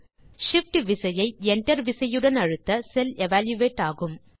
Shift விசையை Enter விசையுடன் அழுத்த அந்த செல் எவல்யூயேட் ஆகும்